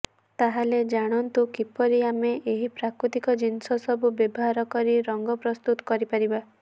ତାହାଲେ ଜାଣନ୍ତୁ କିପରି ଆମେ ଏହି ପ୍ରାକୃତିକ ଜିନିଷ ସବୁ ବ୍ୟବହାର କରି ରଙ୍ଗ ପ୍ରସ୍ତୁତ କରିପାରିବା